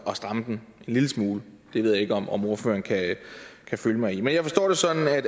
at stramme den en lille smule det ved jeg ikke om om ordføreren kan følge mig i men jeg forstår det sådan at